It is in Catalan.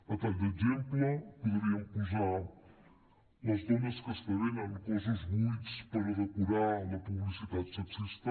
a tall d’exemple podríem posar les dones que esdevenen cossos buits per a decorar la publicitat sexista